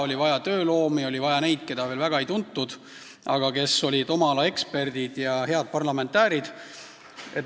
Oli vaja tööloomi, oli vaja neid, keda veel väga ei tuntud, aga kes olid oma ala eksperdid ja head rahvasaadikud.